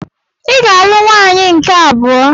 Ị ga-alụ nwaanyị nke abụọ!